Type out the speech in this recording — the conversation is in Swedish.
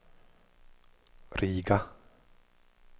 Riga